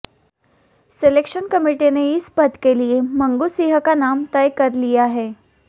selection committee ने इस पद के लिए मंगू सिंह का नाम तय कर लिया है